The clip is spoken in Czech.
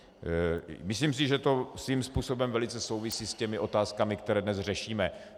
Myslím si, že to svým způsobem velice souvisí s těmi otázkami, které dnes řešíme.